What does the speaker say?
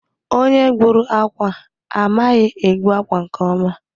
Onye gbùrù ákwà a, amaghị egbu akwa nke ọma.